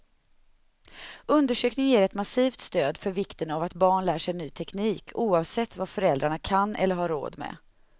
Undersökningen ger ett massivt stöd för vikten av att barn lär sig ny teknik, oavsett vad föräldrarna kan eller har råd med.